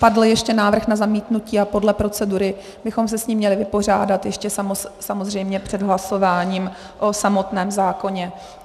Padl ještě návrh na zamítnutí a podle procedury bychom se s ním měli vypořádat ještě samozřejmě před hlasováním o samotném zákoně.